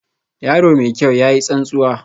Yaro mai kyau, ya yi tsantsuwa